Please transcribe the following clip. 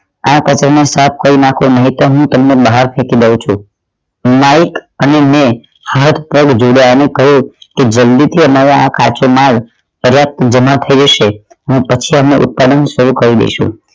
આ કચરો સાફ કરી નાખો નહિતો હું તમને હું બાહર ફેકી દવ છું માઇક અને મૈં હાથ પગ જોડિયા અને કહ્યું કે જલ્દી થી અમારા આ કાચો માલ પર્યાપ્ત જમા થઇ જશે હું પછી અમે ઉત્પાદન શરૂ કરી દેશું